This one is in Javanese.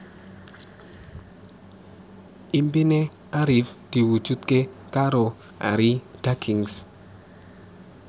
impine Arif diwujudke karo Arie Daginks